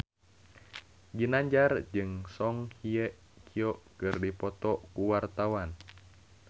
Ginanjar jeung Song Hye Kyo keur dipoto ku wartawan